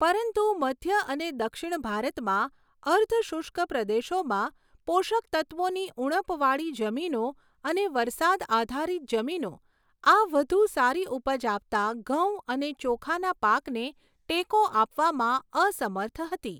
પરંતુ મધ્ય અને દક્ષિણ ભારતમાં અર્ધ શુષ્ક પ્રદેશોમાં પોષક તત્ત્વોની ઉણપવાળી જમીનો અને વરસાદ આધારિત જમીનો આ વધુ સારી ઉપજ આપતા ઘઉં અને ચોખાના પાકને ટેકો આપવામાં અસમર્થ હતી.